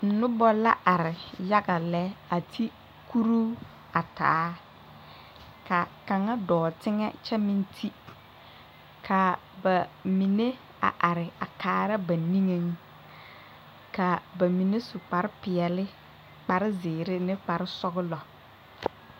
Pɔgebɔ ne dɔbɔ la ziŋ ka motore are ka lɔɛ biŋ ka bibiiri a ziŋ bamine sue kpare sɔglɔ ka bamine leŋ diikopeɛle kaa lɔɔre kaŋa e zeɛ kaa moto e sɔglaa kaa pɔge kaŋa.